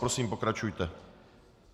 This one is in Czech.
Prosím, pokračujte.